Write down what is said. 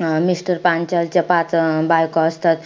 अं mister Panchal च्या पाच अं बायको असतात.